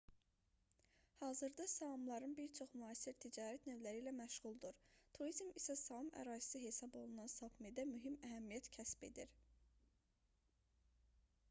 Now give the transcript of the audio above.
hazırda saamların bir çoxu müasir ticarət növləri ilə məşğuldur turizm isə saam ərazisi hesab olunan sapmidə mühüm əhəmiyyət kəsb edir